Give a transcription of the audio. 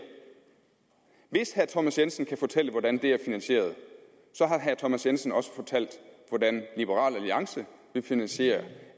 hvis herre thomas jensen kan fortælle hvordan det er finansieret så har herre thomas jensen også fortalt hvordan liberal alliance vil finansiere